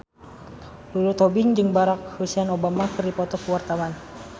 Lulu Tobing jeung Barack Hussein Obama keur dipoto ku wartawan